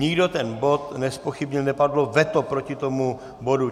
Nikdo ten bod nezpochybnil, nepadlo veto proti tomu bodu.